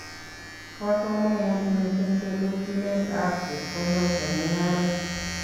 Bo komonut mising telelchinetab chepkondok eng' mungaret